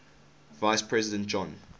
vice president john